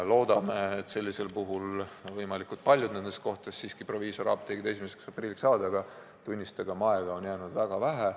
Loodame, et sellisel juhul võimalikult paljudes kohtades siiski proviisoriapteegid 1. aprilliks avatud saavad, aga tunnistagem, et aega on jäänud väga vähe.